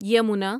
Yamuna